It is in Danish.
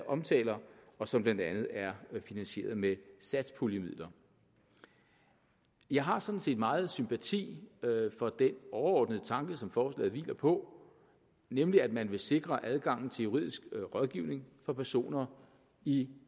omtaler og som blandt andet er finansieret med satspuljemidler jeg har sådan set meget sympati for den overordnede tanke som forslaget hviler på nemlig at man vil sikre adgangen til juridisk rådgivning for personer i